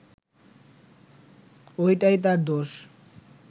ওইটাই তার দোষ